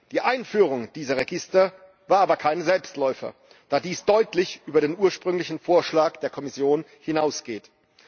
Die Einführung dieser Register war aber kein Selbstläufer, da sie deutlich über den ursprünglichen Vorschlag der Kommission hinausgehen.